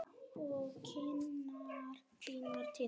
Og kinnar þínar titra.